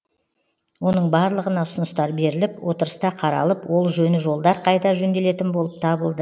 оның барлығына ұсыныстар беріліп отырыста қаралып ол жөні жолдар қайта жөнделетін болып табылды